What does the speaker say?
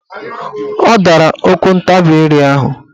Ọ dara okwuntabire ahụ.